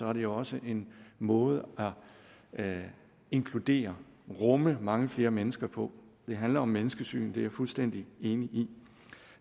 er det også en måde at inkludere at rumme mange flere mennesker på det handler om menneskesyn det er jeg fuldstændig enig i